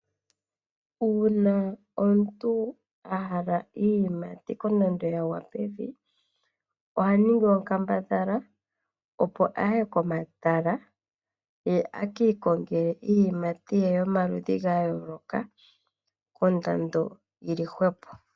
Uuna omuntu ahala iiyimati kondando yagwa pevi ohaningi onkambadhala opo aye komatala ekiikongele iiyimati ye yomaludhi gayooloka kondando yili hwepo.